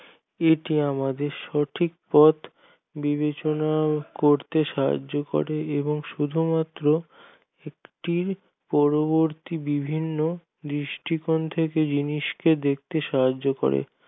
এটি আমাদের সঠিক পথ বিবেচনা করতে সাহায্য করে এবং শুধুমাত্র একটি পরবর্তী বিভিন্ন দৃষ্টিপন্থা জিনিসকে দেখতে সাহায্য করে